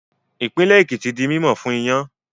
Ìpínlẹ̀ Èkìtì di mímọ̀ fún iyán